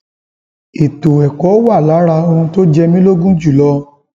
ètò ẹkọ wà lára ohun tó jẹ mí lógún jù lọ